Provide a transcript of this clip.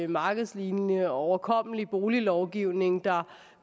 markedslignende og overkommelig boliglovgivning der